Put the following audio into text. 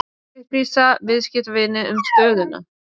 Upplýsa viðskiptavini um stöðuna